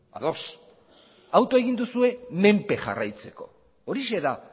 ados autoa egin duzue menpe jarraitzeko horixe da